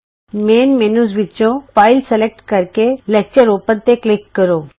main menu ਵਿਚੋਂ file select ਕਰ ਕੇ ਲੈਕਚਰ ਖੋਲ੍ਹੋ ਤੇ ਕਲਿਕ ਕਰੋ